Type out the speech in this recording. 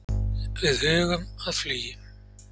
Við hugum að flugi.